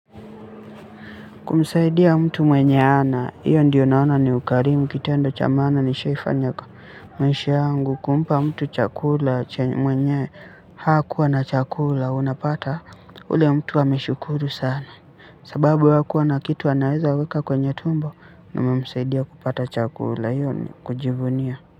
Kumsaidia mtu mwenye hana, hiyo ndiyo naona ni ukarimu, kitendo cha maana nishaifanya kwa maisha yangu, kumpa mtu chakula, mwenye hakuwa na chakula, unapata ule mtu ameshukuru sana. Sababu hakuwa na kitu anaweza weka kwenye tumbo, umemsaidia kupata chakula, hiyo ni kujivunia.